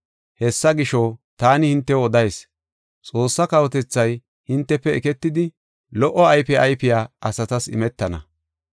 “Hessa gisho, taani hintew odayis; Xoossaa kawotethay hintefe eketidi lo77o ayfe ayfiya asatas imetana.